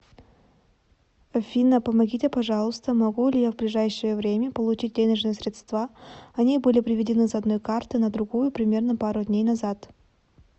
афина помогите пожалуйста могу ли я в ближайшее время получить денежные средства они были приведены с одной карты на другую примерно пару дней назад